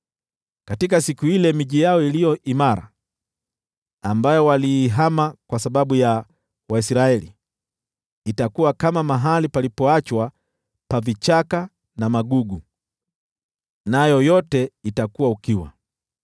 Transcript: Katika siku ile miji yao iliyo imara, ambayo waliihama kwa sababu ya Waisraeli, itakuwa kama mahali palipoachwa pa vichaka na magugu. Nayo yote itakuwa ukiwa.